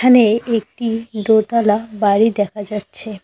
এখানে একটি দোতালা বাড়ি দেখা যাচ্ছে।